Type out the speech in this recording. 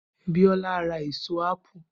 Biola ra ẹ̀so appe